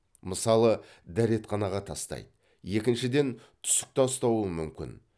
мысалы дәретханаға тастайды екіншіден түсік тастауы мүмкін